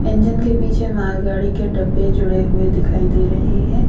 जिनके पीछे मालगाड़ी के डब्बे जुड़े हुए दिखाई दे रहे हैं।